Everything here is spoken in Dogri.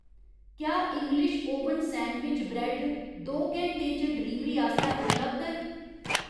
क्या इंग्लिश ओवन सैंडविच ब्रैड्ड दो घैंटें च डलीवरी आस्तै उपलब्ध ऐ ?